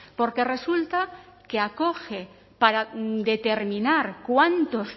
porque resulta que acoge para determinar cuántos